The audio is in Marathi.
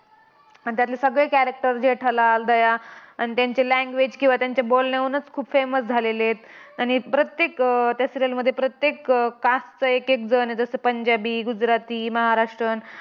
आणि त्यातले सगळे character जेठालाल, दया आणि त्यांचे language किंवा त्यांच्या बोलण्यावरूनच खूप famous झालेलेत. आणि प्रत्येक त्या serial मध्ये प्रत्येक caste चा एकेक जण आहे. जसे, पंजाबी, गुजराती, महाराष्ट्रन,